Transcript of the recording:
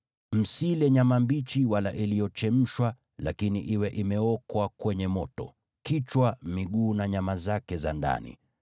Msile nyama mbichi wala iliyochemshwa, lakini iwe imeokwa kwenye moto, kichwa, miguu na nyama zake za ndani.